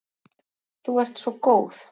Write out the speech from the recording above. Þú ert svo góð.